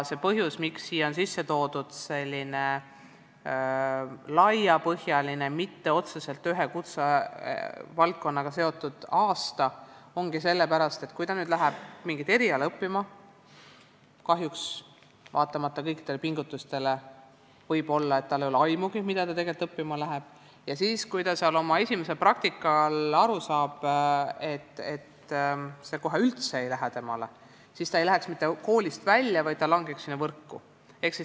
Põhjus, miks siia on sisse toodud selline laiapõhjaline, mitte otseselt ühe kutsevaldkonnaga seotud aasta, ongi see, et kui noor inimene läheb mingit eriala õppima – kahjuks võib vaatamata kõikidele pingutustele juhtuda, et tal ei ole aimugi, mida ta tegelikult õppima läheb – ja kui ta saab esimesel praktikal aru, et see ala kohe üldse temale ei sobi, et ta siis koolist ei lahkuks, vaid langeks sinna võrku.